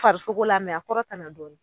Farisokolo la a kɔrɔtana dɔɔni.